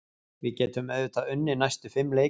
Við getum auðvitað unnið næstu fimm leiki.